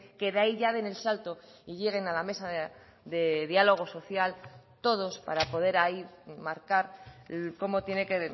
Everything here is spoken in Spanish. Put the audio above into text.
que de ahí ya den el salto y lleguen a la mesa de diálogo social todos para poder ahí marcar cómo tiene que